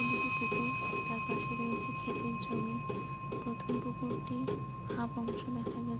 দুটি পুকুর তার পাশে রয়েছে ক্ষেতের জমি । প্রথম পুকুরটি হাফ অংশ দেখা যাচ্ছে ।